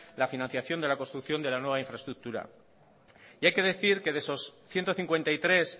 la financiación de la construcción de la nueva infraestructura hay que decir que de esos ciento cincuenta y tres